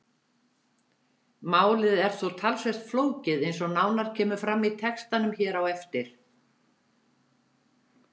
Málið er þó talsvert flókið eins og nánar kemur fram í textanum hér á eftir.